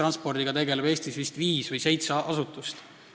Ühistranspordiga tegeleb Eestis vist viis või seitse asutust.